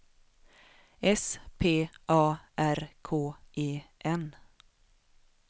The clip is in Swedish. S P A R K E N